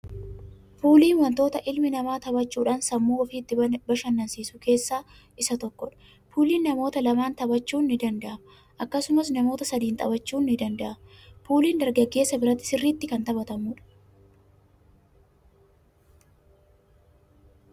Puuliin wantoota ilmi namaa taphachuudhaan sammuu ofii itti bashanansiisu keessa isa tokkoodha. puulii namoota lamaan taphachuun ni danda'ama akkasumas namoota sadiinis taphachuun ni danda'ama. Puuliin dargaggeessa biratti sirritti kan taphatamuudha.